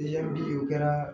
Yanni o kɛra